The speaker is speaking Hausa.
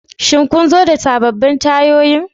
Shin kun zo da sabbin tayoyin?